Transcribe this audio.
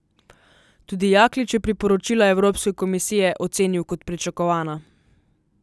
Tudi Jaklič je priporočila Evropske komisije ocenil kot pričakovana.